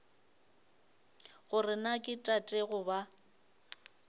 gore na ke tate goba